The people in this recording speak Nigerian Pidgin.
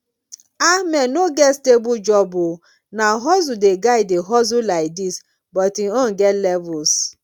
ahmed no get stable job oo na hustle the guy dey hustle like dis but im own get levels